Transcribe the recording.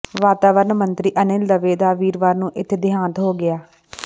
ਵਾਤਾਵਰਣ ਮੰਤਰੀ ਅਨਿਲ ਦਵੇ ਦਾ ਵੀਰਵਾਰ ਨੂੰ ਇਥੇ ਦੇਹਾਂਤ ਹੋ ਗਿਆ